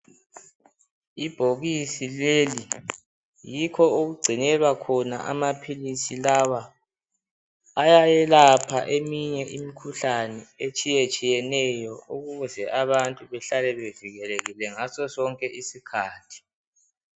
Ibhokisi leli yikho okugcinelwa khona amaphilisi lawa ayayelapha eminye imikhuhlane etshiye tshiyeneyo ukuze abantu behlale bevikelekile ngaso sonke isikhathi.